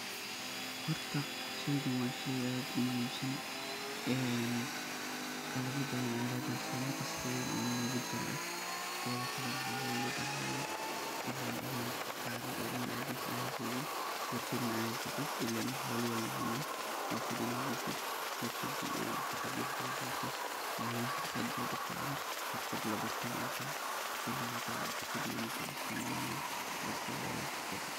Horta sheygan waa shey aad u muhim san oo ee qalabya badan aya lo bahani sidhaa maqaska weyn ee lagu jaro. Horta inad daqaato oo mel kuhesid oo war shaad hesata ile holihi wanba heyna oo wax kasosarta oo xirfad, weyn waye o muhi ah ini labarto oo wax lagaso saro.